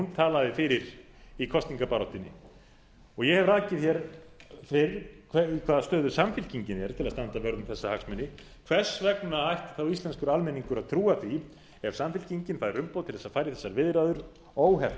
talaði fyrir í kosningabaráttunni ég hef rakið hér fyrr í hvaða stöðu samfylkingin er til að standa vörð um þessa hagsmuni hvers vegna ætti þá íslenskur almenningur að trúa því ef samfylkingin fær umboð til þess að fara í þessar viðræður óheft